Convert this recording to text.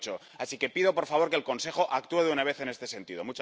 2008. Así que pido, por favor, que el Consejo actúe de una vez en este sentido.